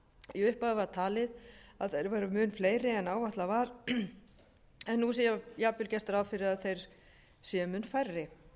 í upphafi var talið að þeir væru mun fleiri en áætlað var en nú sé jafnvel gert ráð fyrir að þeir séu mun færri